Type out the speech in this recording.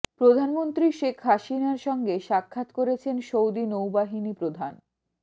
প্রধানমন্ত্রী শেখ হাসিনার সঙ্গে সাক্ষাৎ করেছেন সৌদি নৌবাহিনী প্রধান